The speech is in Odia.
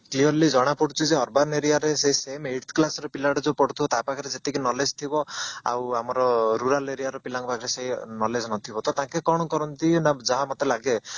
clearly ଜଣା ପଡୁଛି ଯେ urban area ରେ ସେଇ same eights class ର ପିଲଗୁଡା ଯୋଉ ପଢୁଥିବ ତା ପାଖରେ ସେତିକି knowledge ଥିବ ଆଉ rural area ର ପିଲାଙ୍କ ପାଖରେ ସେଇ knowledge ନଥିବ ତ ଟାଙ୍କେ କଣ କରନ୍ତି ନା ଯାହା ମତେ ଲାଗେ